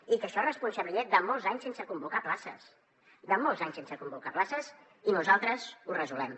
i això és responsabilitat de molts anys sense convocar places de molts anys sense convocar places i nosaltres ho resolem